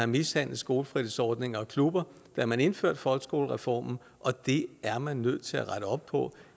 mishandlet skolefritidsordninger og klubber da man indførte folkeskolereformen og det er man nødt til at rette op på